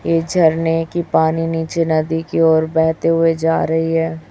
ये झरने की पानी नीचे नदी की ओर बहते हुए जा रही है।